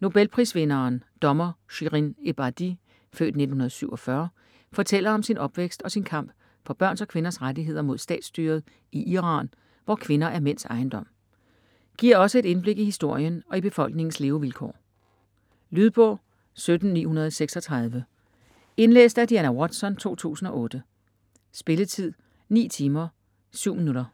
Nobelprisvinderen, dommer Shirin Ebadi (f. 1947), fortæller om sin opvækst og sin kamp for børns og kvinders rettigheder mod statsstyret i Iran, hvor kvinder er mænds ejendom. Giver også et indblik i historien og i befolkningens levevilkår. Lydbog 17936 Indlæst af Diana Watson, 2008. Spilletid: 9 timer, 7 minutter.